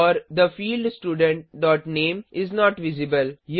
और the field student dot name is not visible